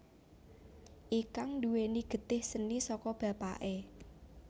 Ikang nduwèni getih seni saka bapaké